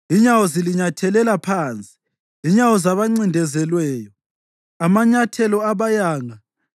Inyawo zilinyathelela phansi, inyawo zabancindezelweyo, amanyathelo abayanga.